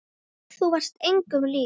Þú varst engum lík.